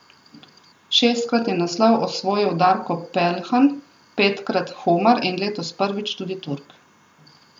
Šestkrat je naslov osvojil Darko Peljhan, petkrat Humar in letos prvič tudi Turk.